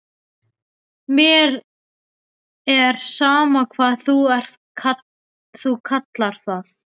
Mér er sama hvað þú kallar það.